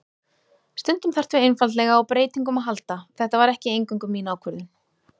Stundum þarftu einfaldlega á breytingum að halda, þetta var ekki eingöngu mín ákvörðun.